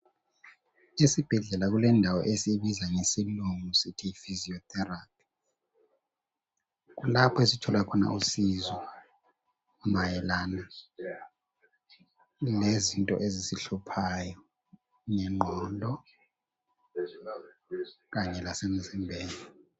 Esibhedlela kulendawo esiyibiza ngesilungu sithi yi physiotherapy kulapho esithola khona usizo mayelana lezinto ezisihluphayo ngengqondo kanye lasemzimbeni.